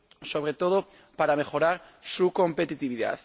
sobre todo para mejorar su competitividad.